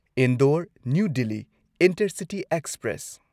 Indore new Delhi intercity express